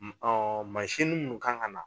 mansinin ninnu kan ŋana